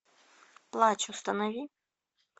плач установи